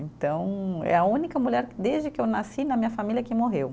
Então, é a única mulher, desde que eu nasci, na minha família, que morreu.